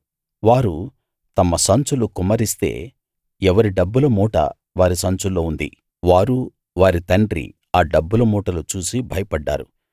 వారు తమ సంచులు కుమ్మరిస్తే ఎవరి డబ్బుల మూట వారి సంచుల్లో ఉంది వారూ వారి తండ్రీ ఆ డబ్బుల మూటలు చూసి భయపడ్డారు